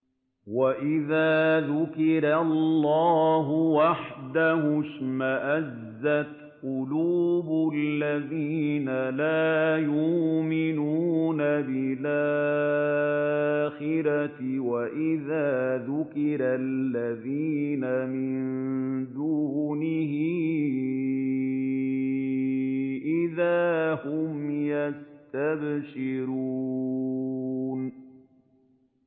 وَإِذَا ذُكِرَ اللَّهُ وَحْدَهُ اشْمَأَزَّتْ قُلُوبُ الَّذِينَ لَا يُؤْمِنُونَ بِالْآخِرَةِ ۖ وَإِذَا ذُكِرَ الَّذِينَ مِن دُونِهِ إِذَا هُمْ يَسْتَبْشِرُونَ